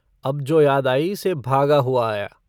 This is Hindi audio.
अब जो याद आई से भागा हुआ आया।